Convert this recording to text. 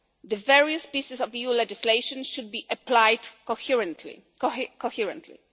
The various pieces of EU legislation should be applied coherently.